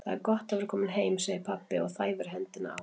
Það er gott að vera kominn heim, segir pabbi og þæfir hendina á